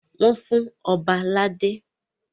Wọ́n fún Ọba ládé.